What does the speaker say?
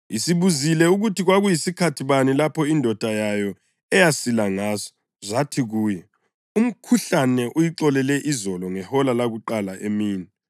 Isibuzile ukuthi kwakuyisikhathi bani lapho indodana yayo eyasila ngaso, zathi kuyo, “Umkhuhlane uyixolele izolo ngehola lakuqala emini.”